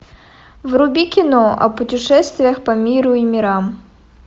вруби кино о путешествиях по миру и мирам